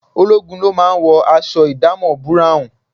Ológun ló máa ń wọ aṣọ ìdámọ̀ búráùn